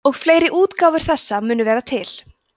og fleiri útgáfur þessa munu vera til